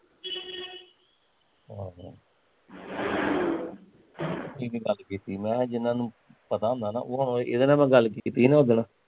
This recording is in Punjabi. ਆਹੋ ਮੈਂ ਕਿਹਾਂ ਜਿਹਨਾਂ ਨੂੰ ਹੁੰਦਾ ਨਾ ਇਹਦੇ ਨਾਲ਼ ਮੈਂ ਗੱਲ ਕੀਤੀ ਸੀ ਨਾ ਉਸ ਦਿਨ